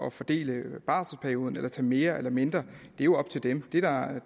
at fordele barselperioden eller tager mere eller mindre er jo op til dem